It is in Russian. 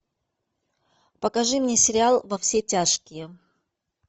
покажи мне сериал во все тяжкие